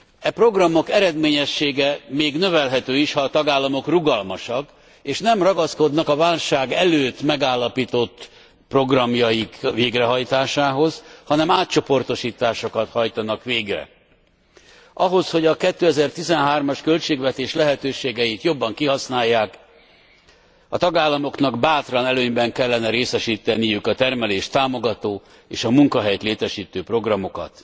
E programok eredményessége még növelhető is, ha a tagállamok rugalmasak, és nem ragaszkodnak a válság előtt megállapított programjaik végrehajtásához, hanem átcsoportosításokat hajtanak végre. Ahhoz, hogy a 2013 as költségvetés lehetőségeit jobban kihasználják, a tagállamoknak bátran előnyben kellene részesíteniük a termelést támogató és a munkahelyet létesítő programokat.